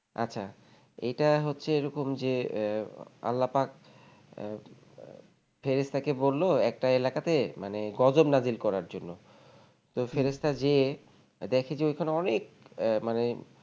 আচ্ছা এটা হচ্ছে এরকম যে আহ আল্লাহ্পাক আহ আহ ফেরেস্তাকে বলল একটা এলাকাতে মানে গজব নাজির করার জন্য তো ফেরেস্তা হম গিয়ে দেখেছে ওখানে অনেক আহ মানে